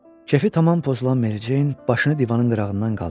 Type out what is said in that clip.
Kefi tamam pozulan Mericeyin başını divanın qırağından qaldırdı.